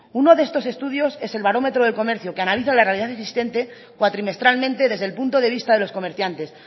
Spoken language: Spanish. uno de estos estudios es el barómetro del comercio que analiza la realidad existente cuatrimestralmente desde el punto de vista de los comerciantes